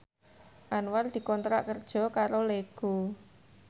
Anwar dikontrak kerja karo Lego